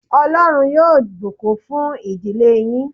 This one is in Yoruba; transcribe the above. Ọlọ́run yóò bùkún fun ìdílé yín